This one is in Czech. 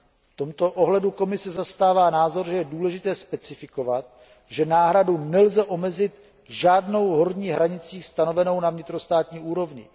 V tomto ohledu Komise zastává názor, že je důležité specifikovat, že náhradu nelze omezit žádnou horní hranicí stanovenou na vnitrostátní úrovni.